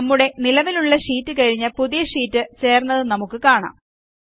നമ്മുടെ നിലവിലുള്ള ഷീറ്റ് കഴിഞ്ഞു പുതിയ ഷീറ്റ് ചേർന്നത് നമുക്ക് കാണാം